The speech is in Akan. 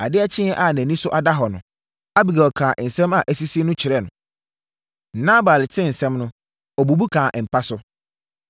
Adeɛ kyeeɛ a nʼani so ada hɔ no, Abigail kaa nsɛm a asisi no kyerɛɛ no. Nabal tee nsɛm no, ɔbubu kaa mpa so.